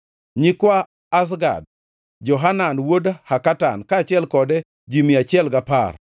nyikwa Azgad, Johanan wuod Hakatan, kaachiel kode ji mia achiel gapar;